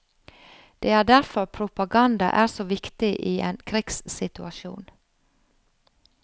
Det er derfor propaganda er så viktig i en krigssituasjon.